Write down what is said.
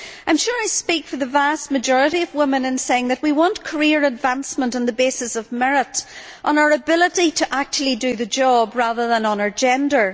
I am sure that I speak for the vast majority of women in saying that we want career advancement on the basis of merit, on our ability to actually do the job, rather than on our gender.